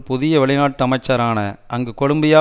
புதிய வெளி நாட்டு அமைச்சரான அங்கு கொலம்பியா